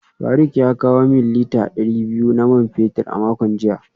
Faruk ya kawo min lita dari biyu na man fetur a makon jiya